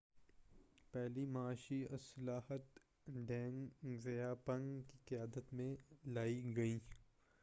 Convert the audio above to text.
پہلی معاشی اصلاحات ڈینگ زیا پنگ کی قیادت میں لائی گئیں